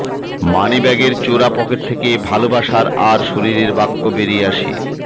মানিব্যাগের চোরা পকেট থেকে ভালোবাসা আর শরীরের বাক্য বেরিয়ে আসে